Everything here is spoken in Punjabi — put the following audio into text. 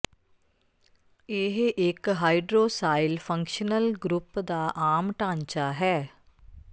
ਇਹ ਇਕ ਹਾਈਡ੍ਰੋਸਿਾਇਲ ਫੰਕਸ਼ਨਲ ਗਰੁੱਪ ਦਾ ਆਮ ਢਾਂਚਾ ਹੈ